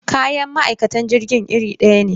Kayan ma'aikatan jirgin irin daya ne.